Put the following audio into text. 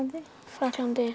Frakklandi